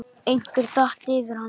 Einhver datt yfir hana.